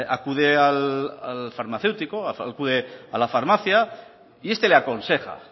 acude al farmacéutico acude a la farmacia y este le aconseja